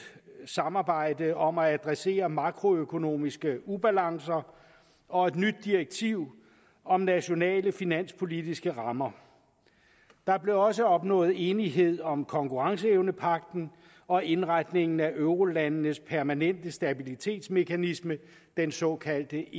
samarbejde om at adressere makroøkonomiske ubalancer og et nyt direktiv om nationale finanspolitiske rammer der blev også opnået enighed om konkurrenceevnepagten og indretningen af eurolandenes permanente stabilitetsmekanisme den såkaldte